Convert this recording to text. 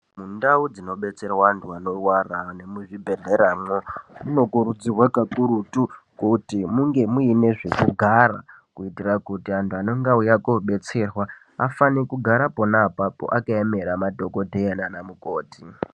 Mundau dzinobetserwa antu anorwara nemuzvibhedhleramwo, munokurudzirwa kakurutu kuti munge muine zvekugara kuitira kuti antu anenge auya koobetserwa afane kugara ponaapapo akayemera madhokodheya naanamukoti.